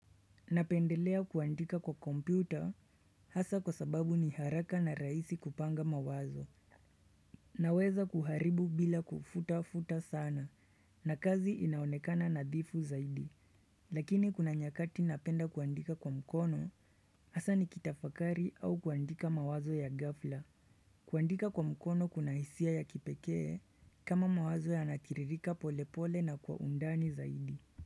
Napendelea kuandika kwa kompyuta hasa kwa sababu ni haraka na rahisi kupanga mawazo Naweza kuharibu bila kufuta-futa sana na kazi inaonekana nadhifu zaidi Lakini kuna nyakati napenda kuandika kwa mkono hasa nikitafakari au kuandika mawazo ya ghafla kuandika kwa mkono kuna hisia ya kipekee kama mawazo yanatiririka pole pole na kwa undani zaidi.